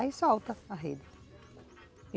Aí solta a rede.